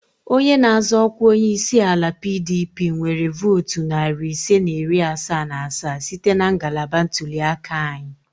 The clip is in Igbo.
Onye na-azọ ọkwa onye isi ala PDP nwere votu narị ise na iri asaa na asaa site na ngalaba ntuli aka anyị